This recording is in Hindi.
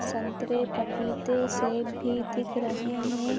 संतरे पपीते सेब भी दिख रहे हैं।